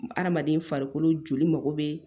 Hadamaden farikolo joli mago bɛ